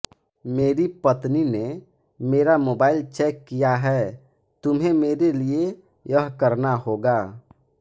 मेरी पत्नी ने मेरा मोबाइल चैक किया है तुम्हें मेरे लिए यह करना होगा